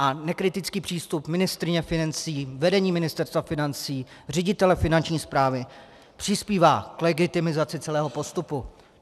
A nekritický přístup ministryně financí, vedení Ministerstva financí, ředitele Finanční správy přispívá k legitimizaci celého postupu.